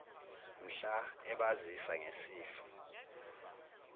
mhla ebazisa ngesifo